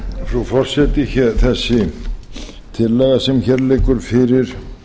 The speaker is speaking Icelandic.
frú forseti þessi tillaga sem hér liggur fyrir